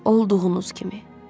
Olduğunuz kimi.